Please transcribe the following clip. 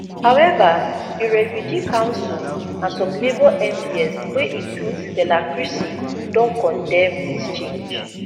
however di refugee council and some labour mps wey include stella creasy don condemn dis change